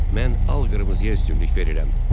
Mən al qırmızıya üstünlük verirəm.